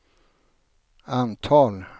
antal